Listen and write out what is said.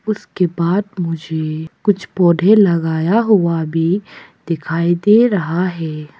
उसके बाद मुझे कुछ पौधे लगाया हुआ भी दिखाई दे रहा है।